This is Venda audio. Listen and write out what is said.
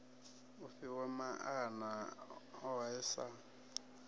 i fhiwa maana ohe sa